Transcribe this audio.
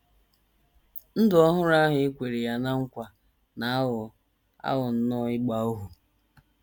‘ Ndụ ọhụrụ ’ ahụ e kwere ya ná nkwa na - aghọ - aghọ nnọọ ịgba ohu.